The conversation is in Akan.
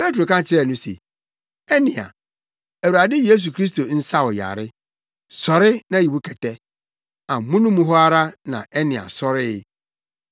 Petro ka kyerɛɛ no se, “Enea, Awurade Yesu Kristo nsa wo yare. Sɔre na yi wo kɛtɛ!” Amono mu hɔ ara na Enea sɔree.